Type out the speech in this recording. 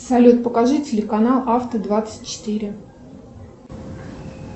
салют покажи телеканал авто двадцать четыре